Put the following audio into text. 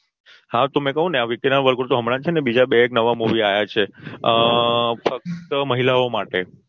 હા તો મેં કઉં ને વિકી ના વર્ગોડો હમણાં બે એક નવા Movie આયા છે અ ફક્ત મહિલાઓ માટે